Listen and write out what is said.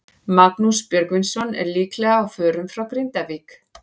Magnús Björgvinsson er líklega á förum frá Grindavík.